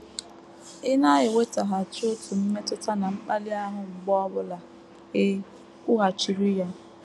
Ị na - enwetaghachi otu mmetụta na mkpali ahụ mgbe ọ bụla i kwughachiri ya!